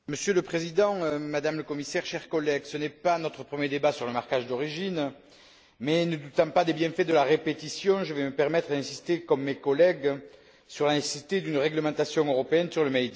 Monsieur le Président, Madame la Commissaire, chers collègues, ce n'est pas notre premier débat sur le marquage d'origine mais, ne doutant pas des bienfaits de la répétition, je vais me permettre d'insister, comme mes collègues, sur la nécessité d'une réglementation européenne sur le